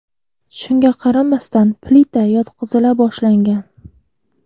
Shunga qaramasdan, plita yotqizila boshlangan.